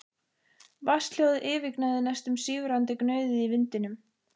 Vatnshljóðið yfirgnæfði næstum sífrandi gnauðið í vindinum.